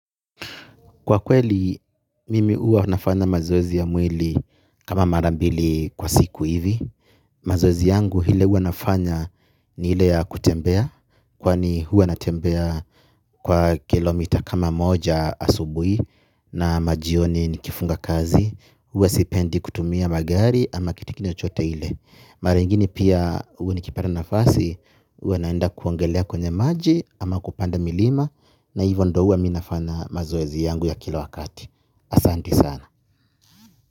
Kwa kweli, mimi uwa nafanya mazoezi ya mwili kama mara mbili kwa siku hivi. Mazoezi yangu ile huwa nafanya ni ile ya kutembea. Kwani huwa natembea kwa kilomita kama moja asubui na majioni nikifunga kazi. Uwa sipendi kutumia magari ama kitikini chote ile. Mara ingine pia huwa nikipata nafasi, uwa naenda kuongelea kwenye maji ama kupanda milima. Na hivyo ndo uwa mi nafanya mazoezi yangu ya kila wakati asanti sana.